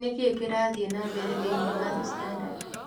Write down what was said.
Nĩ kĩĩ kĩrathiĩ na mbere thĩinĩ wa The Standard